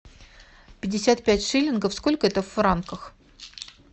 пятьдесят пять шиллингов сколько это в франках